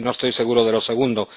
y no estoy seguro de lo segundo..